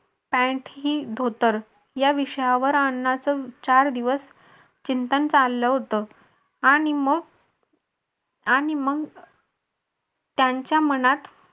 pant ही धोतर या विषयावर अण्णांच चार दिवस चिंतन चाललं होतं आणि मग आणि मग त्यांच्या मनात